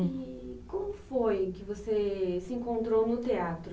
E como foi que você se encontrou no teatro?